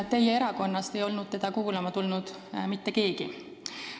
Teie erakonnast ei olnud teda kuulama tulnud mitte keegi.